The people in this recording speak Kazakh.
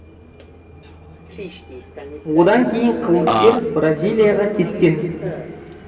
одан кейін қылмыскер бразилияға кеткен